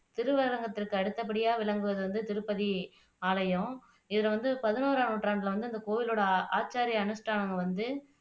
திருவரங்கத்துக்கு அடுத்தபடியா விளங்குவது வந்து திருப்பதி ஆலயம் இதுல வந்து பதினோராம் நூற்றாண்டுல வந்து அந்த கோயிலோட ஆச்சாரி அனுஷ்டாணம் வந்து